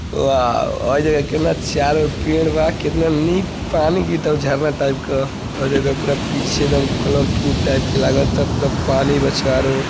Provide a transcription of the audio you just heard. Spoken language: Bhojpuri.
वॉव ! हई देख केतना चारों ओर पेड़ बा। केतना निक पानी झरना टाईप क। हई देख पूरा पीछे एदम कलरफूल टाइप के लागता। पूरा पानी बा चारों ओर।